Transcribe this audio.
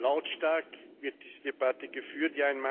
Lautstark wird diese Debatte geführt.